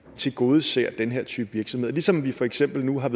tilgodeser den her type virksomhed og ligesom vi for eksempel nu er